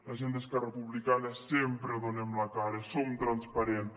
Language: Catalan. la gent d’esquerra republicana sempre donem la cara som transparents